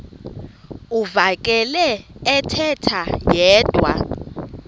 uvakele ethetha yedwa